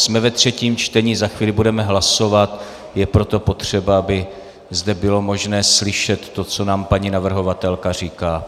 Jsme ve třetím čtení, za chvíli budeme hlasovat, je proto potřeba, aby zde bylo možné slyšet to, co nám paní navrhovatelka říká.